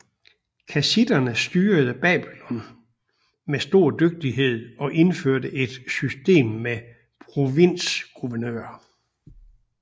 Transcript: Kassitterne styrede Babylonien med stor dygtighed og indførte et system med provinsguvernører